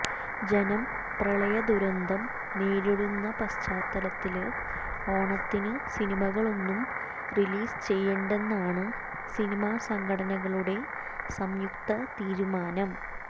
ജനം പ്രളയദുരതന്തം നേരിടുന്ന പശ്ചാത്തലത്തില് ഓണത്തിന് സിനിമകളൊന്നും റീലീസ് ചെയ്യേണ്ടെന്നാണ് സിനിമാ സംഘടനകളുടെ സംയുക്ത തീരുമാനം